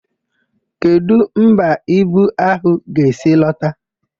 Kedụ mba ibu áhụ̀ ga-esi lọta?